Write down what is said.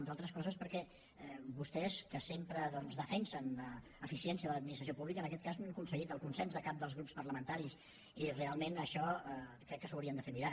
i entre altres coses perquè vostès que sempre defensen l’eficiència de l’administració pública en aquest cas no han aconseguit el consens de cap dels grups parlamentaris i realment això crec que s’ho haurien de fer mirar